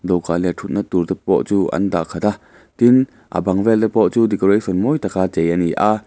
dawhkan leh ṭhutna tur te pawh chu an dah khat a tin a bang vel te pawh chu decoration mawi taka chei ani a.